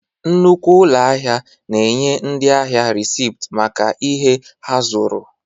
Nnukwu ụlọ ahịa na-enye ndị ahịa resipt maka ihe ha zụrụ.